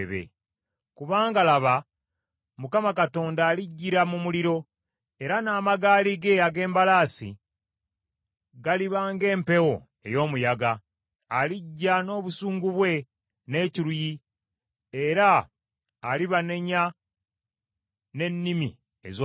“Kubanga laba Mukama Katonda alijjira mu muliro, era n’amagaali ge ag’embalaasi galiba ng’empewo ey’omuyaga. Alijja n’obusungu bwe n’ekiruyi era alibanenya n’ennimi ez’omuliro.